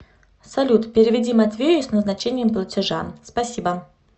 салют переведи матвею с назначением платежа спасибо